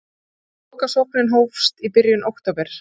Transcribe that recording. Lokasóknin hófst í byrjun október.